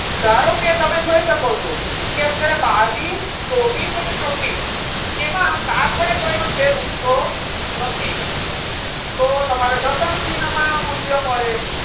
ધારો કે તમે જોઈ શકો છો કે અત્યારે બાવીશ, ચોવીશ અને છવ્વીસ એમાં સાત વડે કોઈનો છેદ ઉડતો નથી. તો તમારે દશાંશ ચિન્હમાં મૂલ્ય મળે.